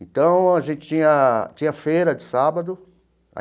Então, a gente tinha tinha feira de sábado.